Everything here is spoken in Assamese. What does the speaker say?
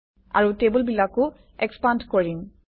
আৰু টেবুলবিলাকো এক্সপান্দ্ কৰিম